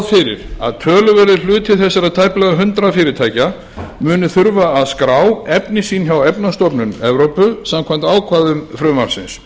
fyrir að töluverður hluti þessara tæplega hundrað fyrirtækja muni þurfa skrá efni sín hjá efnastofnun evrópu samkvæmt ákvæðum frumvarpsins